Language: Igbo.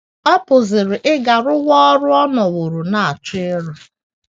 Ọ pụziri ịga rụwa ọrụ ọ nọworo na - achọ ịrụ.